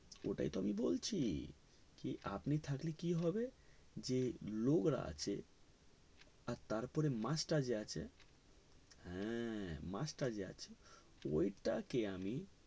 ওটাই তো আমি বলছি কি আপনি থাকলে কি হবে যে নোংরা আছে আর তারপরে মাছ টা যে আছে হে মাছ টা যে আছে তো ওইটাকে আমি